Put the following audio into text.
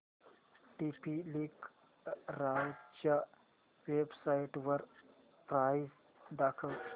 TP link राउटरच्या वेबसाइटवर price दाखव